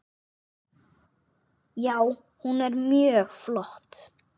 Já, hún er mjög flott.